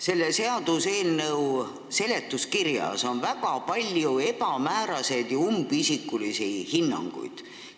Selle seaduseelnõu seletuskirjas on väga palju ebamääraseid ja umbisikulisi hinnanguid.